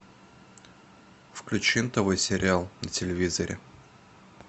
включи нтв сериал на телевизоре